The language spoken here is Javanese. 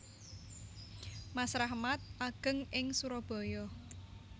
Mas Rahmat ageng ing Surabaya